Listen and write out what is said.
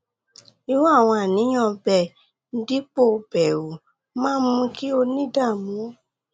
irú àwọn àníyàn bẹẹ dípò bẹru máa ń mú kí o ní ìdààmú